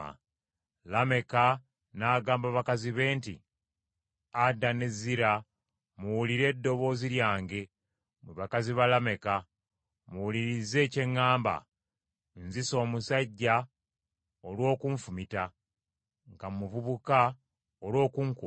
Lameka n’agamba bakazi be nti, “Ada ne Zira, muwulire eddoboozi lyange; mwe bakazi ba Lameka, muwulirize kye ŋŋamba; nzise omusajja olw’okunfumita, nga muvubuka, olw’okunkuba.